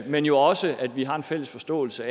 men jo også at vi har en fælles forståelse